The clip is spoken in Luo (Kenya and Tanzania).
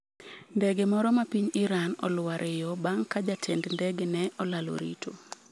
Ndege moro ma piny Iran olwar e yo bang' ka jatend ndege ne olalo rito